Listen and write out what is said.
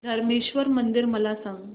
धरमेश्वर मंदिर मला सांग